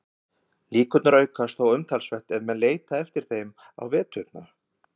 Líkurnar aukast þó umtalsvert ef menn leita eftir þeim á veturna.